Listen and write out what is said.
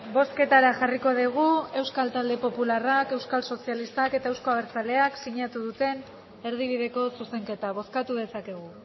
bozketara jarriko dugu euskal talde popularrak euskal sozialistak eta euzko abertzaleak sinatu duten erdibideko zuzenketa bozkatu dezakegu